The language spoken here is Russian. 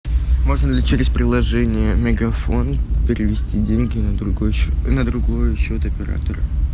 можно ли через приложение мегафон перевести деньги на другой на другой счет оператора